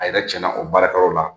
A yɛrɛ tiɲɛna o baarakɛyɔrɔ la